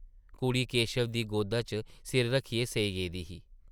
कुड़ी केशव दी गोदा च सिर रक्खियै सेई गेदी ही ।